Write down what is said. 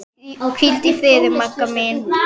Hvíldu í friði, Magga mín.